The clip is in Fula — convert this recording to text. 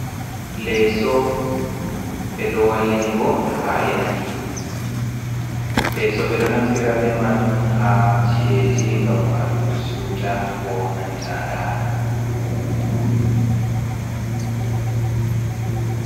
Leeso ɓeɗo wallinigo ha leddi, leeso ɓeɗo naftira be majum ha ci'eji ngam walugo siuta, ko nanta ɗana.